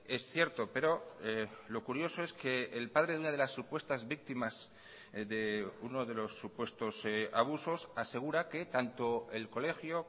es cierto pero lo curioso es que el padre de una de las supuestas víctimas de uno de los supuestos abusos asegura que tanto el colegio